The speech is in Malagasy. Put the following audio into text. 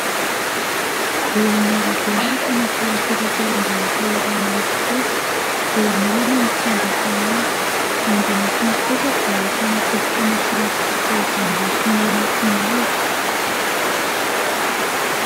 Eo amin'ny arabe no ahitana fiara fitateram-bahoaka iray miloko fotsy. Eo anilany ny fiandrasana azy. Ao an-damosiny kosa dia ahitana tobi-pamantsiana solika izay miloko mena sy mavo.